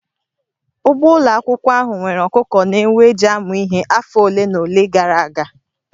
Ugbo ụlọ akwụkwọ ahụ nwere ọkụkọ na ewu e ji amụ ihe afọ ole na ole gara aga